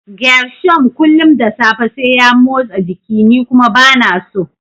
Gershom kullum da safe sai ya motsa jiki ni kuma bana so.